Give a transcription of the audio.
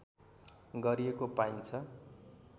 गरिएको पाइन्छ